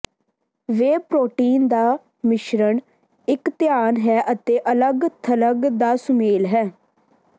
ਵੇ protein ਦਾ ਮਿਸ਼ਰਣ ਇੱਕ ਧਿਆਨ ਹੈ ਅਤੇ ਅਲੱਗ ਥਲੱਗ ਦਾ ਸੁਮੇਲ ਹੈ